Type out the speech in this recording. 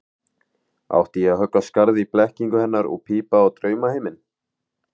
Átti ég að höggva skarð í blekkingu hennar og pípa á draumaheiminn?